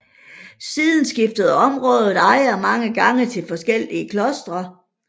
Siden skiftede området ejer mange gange til forskellige klostre